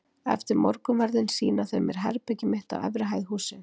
Eftir morgunverðinn sýna þau mér herbergið mitt á efri hæð hússins.